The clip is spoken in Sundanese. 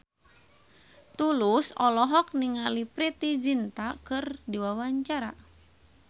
Tulus olohok ningali Preity Zinta keur diwawancara